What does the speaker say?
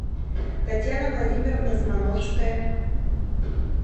татьяна владимировна змановская